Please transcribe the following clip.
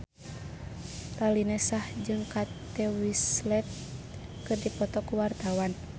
Raline Shah jeung Kate Winslet keur dipoto ku wartawan